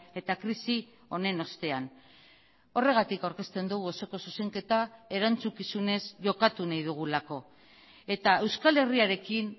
eta krisi honen ostean horregatik aurkezten dugu osoko zuzenketa erantzukizunez jokatu nahi dugulako eta euskal herriarekin